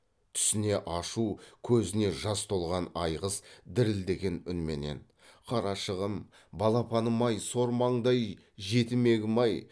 түсіне ашу көзіне жас толған айғыз дірілдеген үнменен қарашығым балапаным ай сормаңдай жетімегім ай